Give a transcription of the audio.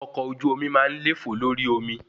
Ọkọ̀ ojú omi máa ń lefo lórí omi